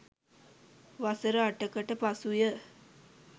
වසර අටකට පසුව